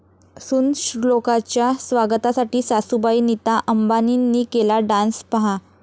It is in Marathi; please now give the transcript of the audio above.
सून श्लोकाच्या स्वागतासाठी सासूबाई नीता अंबानींनी केला डान्स, पाहा